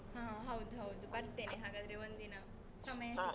ಹಾ ಹೌದು ಹೌದು, ಬರ್ತೇನೆ ಹಾಗಾದ್ರೆ ಒಂದಿನ ಸಮಯ ಸಿಕ್ಕಾಗ.